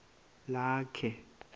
lakhe